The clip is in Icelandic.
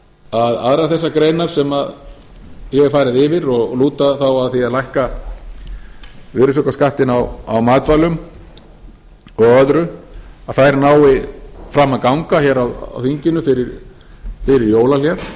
að aðrar þessar greinar sem ég hef farið yfir og lúta þá að því að lækka virðisaukaskattinn á matvælum og öðru nái fram að ganga hér á þinginu fyrir jólahlé